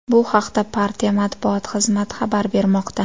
Bu haqda partiya matbuot xizmati xabar bermoqda .